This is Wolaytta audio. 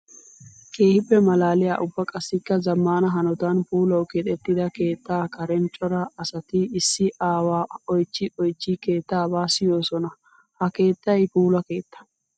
Keehippe malaaliya ubba qassikka zamaana hanotan puulawu keexetidda keetta karen cora asatti issi aawa oychchi oychchi keettaba siyosona. Ha keettay puula keetta.